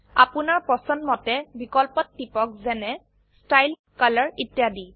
আপোনাৰ পছন্দমতে বিকল্পত টিপক যেনে ষ্টাইল কলৰ ইত্যাদি